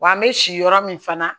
Wa an bɛ si yɔrɔ min fana